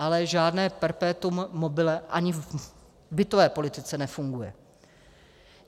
Ale žádné perpetuum mobile ani v bytové politice nefunguje.